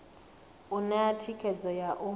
u ṋea thikhedzo ya u